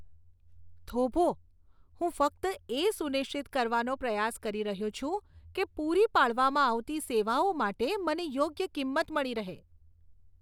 થોભો, હું ફક્ત એ સુનિશ્ચિત કરવાનો પ્રયાસ કરી રહ્યો છું કે પૂરી પાડવામાં આવતી સેવાઓ માટે મને યોગ્ય કિંમત મળી રહે.